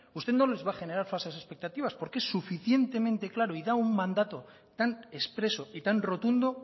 usted no les va a generar falsas expectativas porque es suficientemente claro y da un mandato tan expreso y tan rotundo